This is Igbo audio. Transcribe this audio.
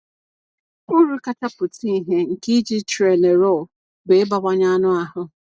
Uru kacha pụta ìhè nke iji Trenorol bụ ịbawanye anụ ahụ.